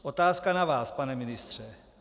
Otázka na vás, pane ministře.